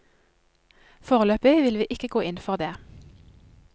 Foreløpig vil vi ikke gå inn for det.